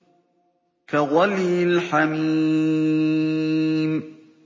كَغَلْيِ الْحَمِيمِ